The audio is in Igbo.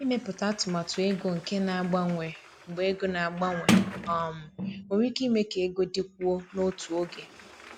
Ịmepụta atụmatụ ego nke na-agbanwe mgbe ego na-agbanwe um nwere ike ime ka ego dịkwuo n’otu oge.